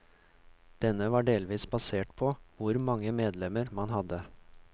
Denne var delvis basert på hvor mange medlemmer man hadde.